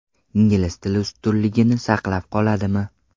Ingliz tili ustunligini saqlab qoladimi?